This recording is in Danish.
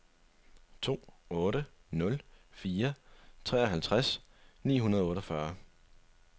to otte nul fire treoghalvtreds ni hundrede og otteogfyrre